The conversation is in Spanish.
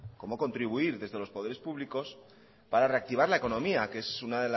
cómo contribuir desde los poderes públicos para reactivar la economía que es uno